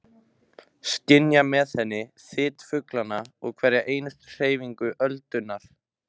Skynja með henni þyt fuglanna og hverja einustu hreyfingu öldunnar.